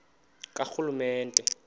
karhulumente